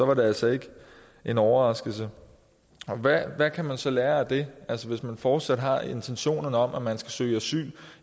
var det altså ikke en overraskelse hvad kan vi så lære af det altså hvis vi fortsat har intentioner om at man skal søge asyl